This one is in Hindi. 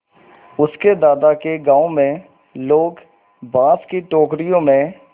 उसके दादा के गाँव में लोग बाँस की टोकरियों में